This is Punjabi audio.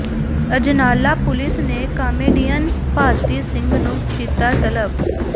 ਅਜਨਾਲਾ ਪੁਲਿਸ ਨੇ ਕਾਮੇਡੀਅਨ ਭਾਰਤੀ ਸਿੰਘ ਨੂੰ ਕੀਤਾ ਤਲਬ